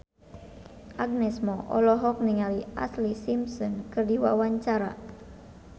Agnes Mo olohok ningali Ashlee Simpson keur diwawancara